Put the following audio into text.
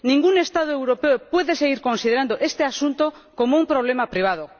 Ningún Estado europeo puede seguir considerando este asunto como un problema privado.